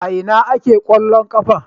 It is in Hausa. A ina ake kwallon kafa?